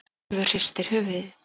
Úlfur hristir höfuðið.